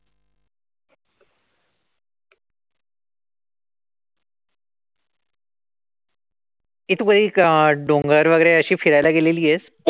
ए तू कधी अशी डोंगर वगैरे अशी फिरायला गेलेलीयेस?